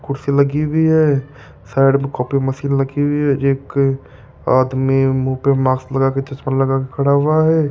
कुर्सी लगी हुई है साइड में कॉफी मशीन लगी हुई है एक आदमी मुंह पे मास्क लगा के चश्मा लगा के खड़ा हुआ है।